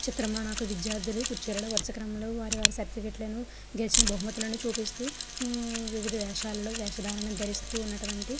ఈ చిత్రం నాకు విద్యార్థులు కుర్చీలలో వరుస క్రమం లో వారి వారి సర్టిఫికెట్ లను గెలిచిన బహుమతులను చూపిస్తూ హు వివిధ వేషలలో వేషధారణ ధరిస్తూ ఉన్నటువంటి --